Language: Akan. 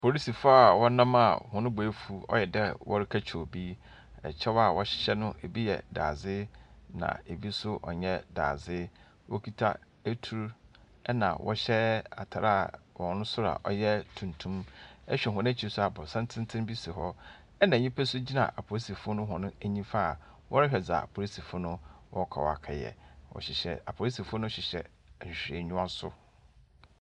Polisifo a wɔnam a hɔn bo efuw, ɔyɛ dɛ wɔrekɛkye obi, na kyɛw a wɔhyehyɛ no bi yɛ dadze, bi so nnyɛ dadze. Wokita etur na wɔhyɛ atar a hɔn sor a ɔyɛ tuntum. Ehwɛ hɔn ekyir so a, aborɔsan tsentsen bi si hɔ na nyimpa so gyina apolisifo no hɔn nyimfa a wɔrohwɛ dza apolisifo no wɔrokɔ wɔakɛyɛ. Wɔhyehyɛ apolisifo no hyehyɛ nhwehwɛenyiwa so.